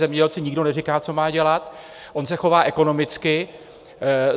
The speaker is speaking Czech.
Zemědělci nikdo neříká, co má dělat, on se chová ekonomicky.